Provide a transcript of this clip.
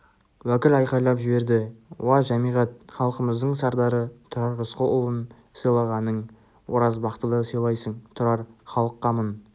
уәкіл айқайлап жіберді уа жәмиғат халқымыздың сардары тұрар рысқұлұлын сыйлағаның оразбақты да сыйлайсың тұрар халық қамын